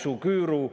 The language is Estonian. Head kolleegid!